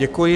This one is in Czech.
Děkuji.